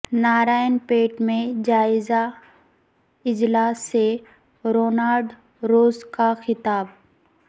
نارائن پیٹ میں جائزہ اجلاس سے رونالڈ روز کا خطاب